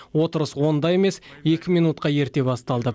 отырыс онда емес екі минутқа ерте басталды